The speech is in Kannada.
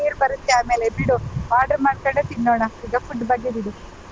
ನೀರ್ ಬರುತ್ತೆ ಆಮೇಲೆ ಬಿಡು order ಮಾಡ್ಕೊಂಡೆ ತಿನ್ನೋಣ ಈಗ food ಬಗ್ಗೆ ಬಿಡು.